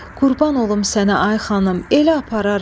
Qurban olum sənə, ay xanım, elə apararam.